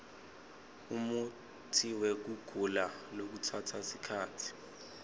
umutsiwekugula lokutsatsa sikhatsi